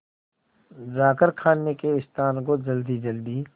जाकर खाने के स्थान को जल्दीजल्दी